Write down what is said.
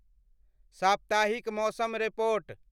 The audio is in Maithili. स्प्ताहिक मौसम रिपोर्ट